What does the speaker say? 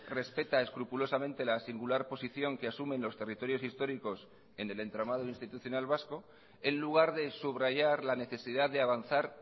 respeta escrupulosamente la singular posición que asumen los territorios históricos en el entramado institucional vasco en lugar de subrayar la necesidad de avanzar